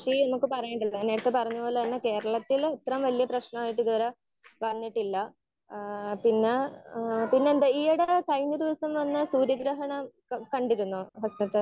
Speaker 1 കൃഷി എന്നൊക്കെ പറയുന്നുണ്ടല്ലോ നേരത്തെ പറഞ്ഞത് പോലെ തന്നെ കേരളത്തിലും ഇത്രയും വല്യേ പ്രശ്നമായിട്ട് ഇത് വരെ വന്നിട്ടില്ല. ഏഹ് പിന്നെ ആഹ് ഏഹ് പിന്നെന്താ ഈ ഇടയായിട്ട് കഴിഞ്ഞ ദിവസം വന്ന സൂര്യ ഗ്രഹണം കണ്ടിരുന്നോ ഹസനത്തെ?